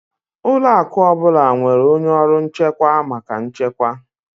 Ụlọ akụ ọ bụla nwere onye ọrụ nchekwa maka nchekwa